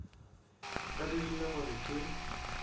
a dirile gore ke be